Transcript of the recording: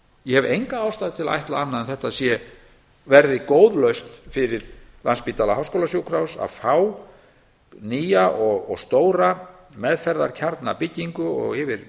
ég hef enga ástæðu til að ætla annað en að þetta verði góð lausn fyrir landspítala háskólasjúkrahús að fá nýja og stóra meðferðarkjarnabyggingu og yfir